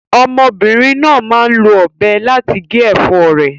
Ọmọbìnrin náà máa ń lo ọ̀bẹ láti gé ẹ̀fọ́ rẹ̀.